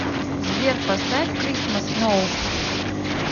сбер поставь кристмас ноу